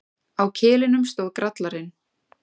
Á kilinum stóð Grallarinn.